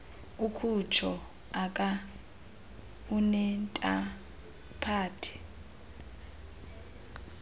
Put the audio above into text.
ukutsho aka unentaphane